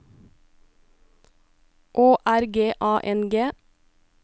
Å R G A N G